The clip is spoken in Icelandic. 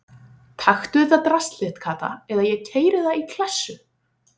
Taktu þetta drasl þitt Kata eða ég keyri það í klessu